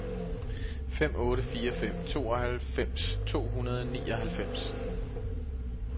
fem otte fire fem tooghalvfems to hundrede og nioghalvfems